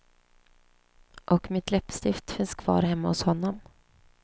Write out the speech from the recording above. Och mitt läppstift finns kvar hemma hos honom.